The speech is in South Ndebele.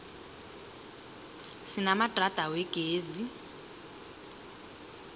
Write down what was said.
sinamadrada wegezi